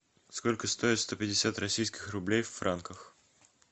сколько стоят сто пятьдесят российских рублей в франках